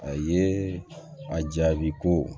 A ye a jaabi ko